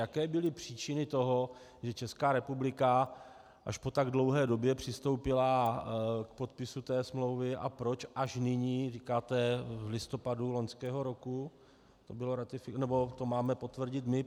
Jaké byly příčiny toho, že Česká republika až po tak dlouhé době přistoupila k podpisu této smlouvy a proč až nyní - říkáte v listopadu loňského roku - to máme potvrdit my?